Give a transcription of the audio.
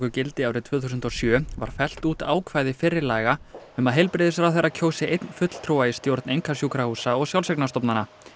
gildi árið tvö þúsund og sjö var fellt út ákvæði fyrri laga um að heilbrigðisráðherra kjósi einn fulltrúa í stjórn einkasjúkrahúsa og sjálfseignarstofnana